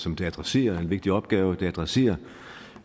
som det adresserer en vigtig opgave det adresserer